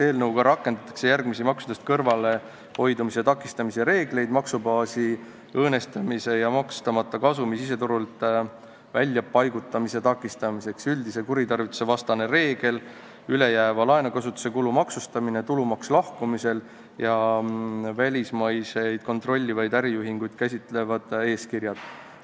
Eelnõuga rakendatakse järgmisi maksudest kõrvalehoidumise takistamise reegleid maksubaasi õõnestamise ja maksustamata kasumi siseturult väljapaigutamise takistamiseks: üldine kuritarvituste vastane reegel, ülejääva laenukasutuse kulu maksustamine, tulumaks lahkumisel ja välismaiseid kontrollitavaid äriühinguid käsitlevad eeskirjad.